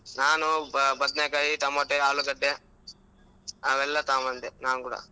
ನಾನು ಬದ್ನೆಕಾಯಿ, tomato, ಆಲೂಗಡ್ಡೆ, ಅವೆಲ್ಲಾ ತಗೊಂಡ್ ಬಂದೆ ನಾನ್ ಕೂಡಾ.